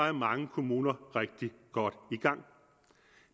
er mange kommuner rigtig godt